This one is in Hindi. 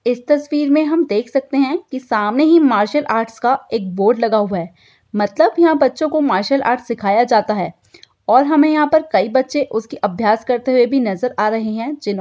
इस तस्वीर में हम देख सकते है सामने ही मार्शल आर्ट्स का एक बोर्ड लगा हुआ है मतलब यहां बच्चों को मार्शल आर्ट्स सिखाया जाता है और हमे यहां कई बच्चे उसके अभियस करते नजर आ रहे हैं। जिन --